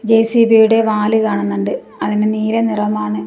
ജെ_സി_ബിയുടെ വാല് കാണുന്നുണ്ട് അതിനു നീല നിറമാണ്.